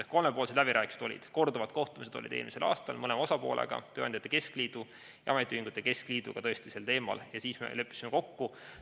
Ehk olid kolmepoolsed läbirääkimised, korduvad kohtumised eelmisel aastal mõlema osapoolega, st tööandjate keskliidu ja ametiühingute keskliiduga tõesti sel teemal ja siis me leppisime kokku.